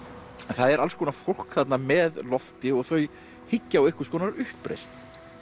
en það er alls konar fólk þarna með Lofti og þau hyggja á einhvers konar uppreisn